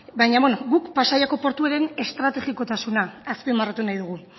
baina beno gu pasaiaren portuaren estrategikotasuna azpimarratu nahi dugu